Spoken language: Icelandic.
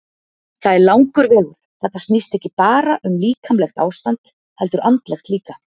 Það er langur vegur, þetta snýst ekki bara um líkamlegt ástand heldur andlegt líka.